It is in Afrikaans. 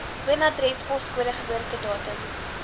woonadres poskode geboortedatum